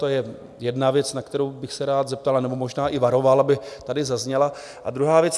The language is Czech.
To je jedna věc, na kterou bych se rád zeptal, nebo možná i varoval, aby tady zazněla, a druhá věc.